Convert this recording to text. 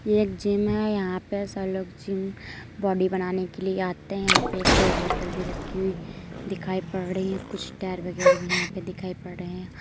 ये एक जिम है यहाँ पे सब लोग जिम बॉडी बनाने के लिए आते हैं यहाँ पे एक दो बोतल भी रखी हुई दिखाई पड़ रही हैं कुछ टायर वगैरा भी यहाँ पर दिखाई पड़ रहा है।